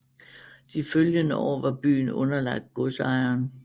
De følgende år var byen underlagt godsejeren